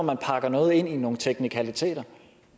man pakker noget ind i nogle teknikaliteter